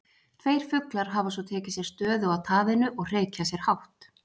Tveir fuglar hafa svo tekið sér stöðu á taðinu og hreykja sér hátt.